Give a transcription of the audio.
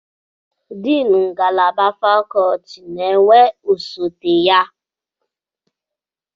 Deni ngalaba fakọlti na-enwe osote ya